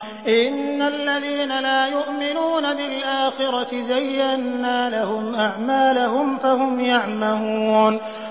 إِنَّ الَّذِينَ لَا يُؤْمِنُونَ بِالْآخِرَةِ زَيَّنَّا لَهُمْ أَعْمَالَهُمْ فَهُمْ يَعْمَهُونَ